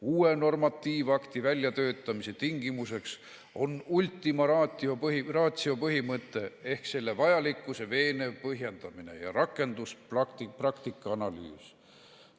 Uue normatiivakti väljatöötamise tingimuseks on ultima ratio põhimõte ehk selle vajalikkuse veenev põhjendamine ja rakenduspraktika analüüs.